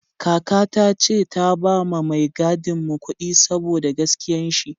Kaka ta ce ta ba ma mai gadin mu kudi saboda gaskiyan shi